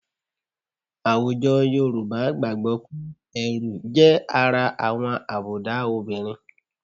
Àwùjọ Yorùbá gbàgbọ́ pé ẹ̀rù jẹ́ ara àwọn àbùdá obìnrin